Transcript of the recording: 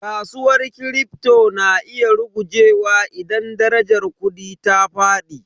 Kasuwar Kripto na iya rugujewa idan darajar kudi ta fadi.